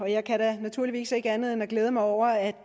jeg kan da naturligvis ikke andet end at glæde mig over at